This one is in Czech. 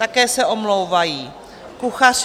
Také se omlouvají Kuchař